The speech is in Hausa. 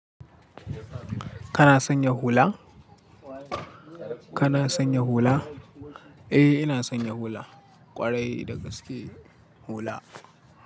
Kana sanya hula? Kana sanya hula? Eh ina sanya hula, ƙwarai da gaske hula.